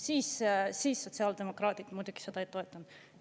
Siis siis sotsiaaldemokraadid muidugi seda ei toetanud.